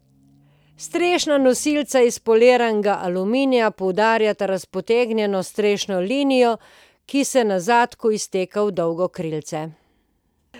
Strešna nosilca iz poliranega aluminija poudarjata razpotegnjeno strešno linijo, ki se na zadku izteka v dolgo krilce.